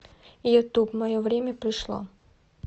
ютуб мое время пришло